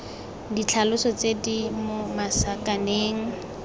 ditlhaloso tse di mo masakaneng